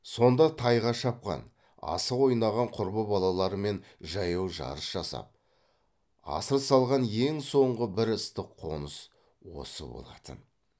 сонда тайға шапқан асық ойнаған құрбы балаларымен жаяу жарыс жасап асыр салған ең соңғы бір ыстық қоныс осы болатын